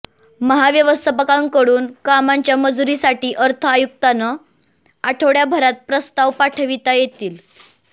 महाव्यवस्थापकांकडून कामांच्या मंजुरीसाठी अर्थ आयुक्तांना आठवड्याभरात प्रस्ताव पाठविता येतील